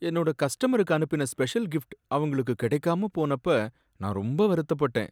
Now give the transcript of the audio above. என்னோட கஸ்டமருக்கு அனுப்பின ஸ்பெஷல் கிஃப்ட் அவங்களுக்கு கிடைக்காம போனப்ப நான் ரொம்ப வருத்தப்பட்டேன்.